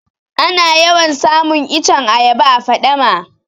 Ana yawan samun iccen ayaba a faɗama